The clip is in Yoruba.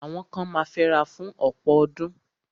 Àwọn kan ma fẹ́ra fún ọ̀pọ̀ ọdún.